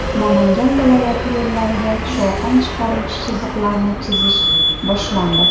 Namangan viloyati yo‘llariga shovqin chiqaruvchi chiziqlarni chizish boshlandi.